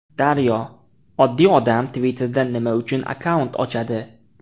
Daryo: Oddiy odam Twitter’da nima uchun akkaunt ochadi?